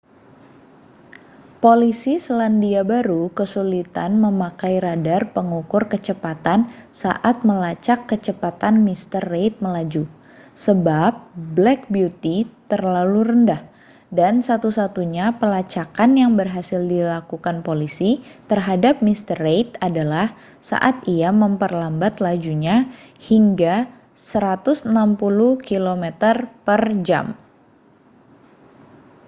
polisi selandia baru kesulitan memakai radar pengukur kecepatan saat melacak kecepatan mr reid melaju sebab black beauty terlalu rendah dan satu-satunya pelacakan yang berhasil dilakukan polisi terhadap mr reid adalah saat ia memperlambat lajunya hingga 160 km/jam